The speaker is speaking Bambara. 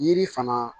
Yiri fana